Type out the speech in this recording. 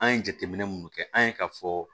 An ye jateminɛ minnu kɛ an ye k'a fɔ